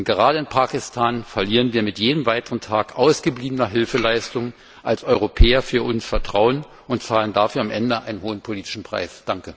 Denn gerade in Pakistan verlieren wir mit jedem weiteren Tag ausgebliebener Hilfeleistung als Europäer Vertrauen und zahlen dafür am Ende einen hohen politischen Preis.